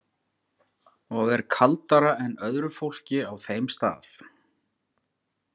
Og er kaldara en öðru fólki á þeim stað.